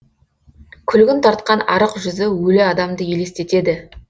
күлгін тартқан арық жүзі өлі адамды елестетеді